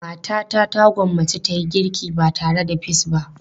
Matata ta gwammace ta yi girki ba tare da peas ba.